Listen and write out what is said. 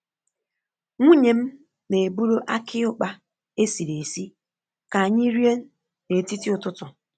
Nwunye m na-eburu aki ukpa esiri esị ka anyị rie n’etiti ụtụtụ.